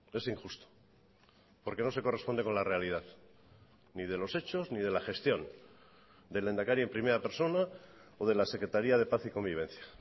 es injusto porque no se corresponde con la realidad ni de los hechos ni de la gestión del lehendakari en primera persona o de la secretaría de paz y convivencia